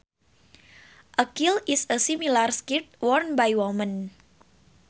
A kilt is a similar skirt worn by women